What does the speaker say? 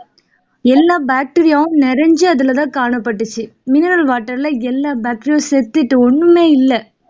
எல்லா bacteria வும் நிறைஞ்சு அதுல தான் காணப்பட்டுச்சு mineral water ல எல்லா bacteria வும் செத்துட்டு ஒண்ணுமே இல்லை